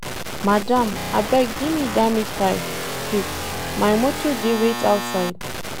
Madam abeg gimme dat meat pie quick, my motor dey wait outside.